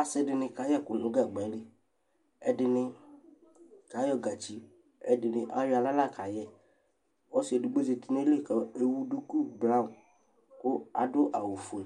Asɩdɩnɩ kaƴɛkʊ nʊ gagbalɩ Ɛdɩnɩ kayɔ gatsɩ Ɛdɩnɩ ayɔ awla la kayɛ Ɔsɩ edɩgbodi du ayɩlɩ kewʊ dʊkʊ braɔn, kʊ adʊ awʊ fue